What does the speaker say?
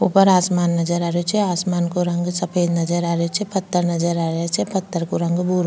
ऊपर आसमान नजर आ रहो छे आसमान का रंग सफ़ेद नजर आ रो छे पत्थर नजर आ रा छे पत्थर को रंग भूरो --